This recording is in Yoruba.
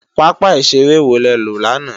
pápá ìṣeré wo le lọ lánàá?